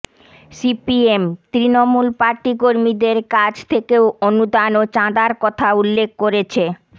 CPM Trinamool party কর্মীদের কাছ থেকে অনুদান ও চাঁদার কথা উল্লেখ করেছে